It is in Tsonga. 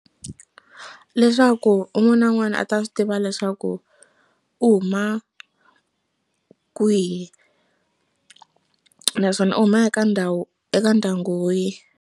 Leswaku un'wana na un'wana a ta swi tiva leswaku u huma kwihi naswona u huma eka ndhawu eka ndyangu wihi.